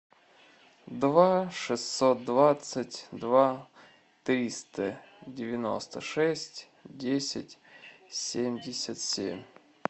два шестьсот двадцать два триста девяносто шесть десять семьдесят семь